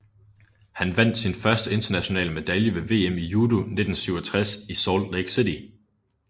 Han vandt sin første internationale medalje ved VM i judo 1967 i Salt Lake City